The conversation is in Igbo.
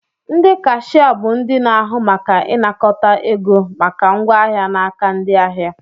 Ndị kashia bụ ndị na-ahụ maka ịnakọta ego maka ngwa ahịa n'aka ndị ahịa